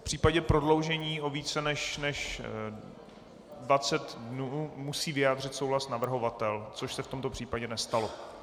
V případě prodloužení o více než 20 dnů musí vyjádřit souhlas navrhovatel, což se v tomto případě nestalo.